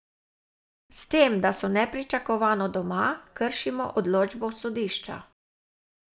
S tem, da so nepričakovano doma, kršimo odločbo sodišča.